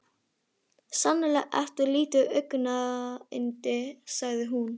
Sannarlega ertu lítið augnayndi sagði hún.